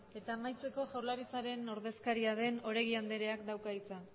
eta amaitzeko jaurlaritzaren ordezkaria den oregi andreak dauka hitza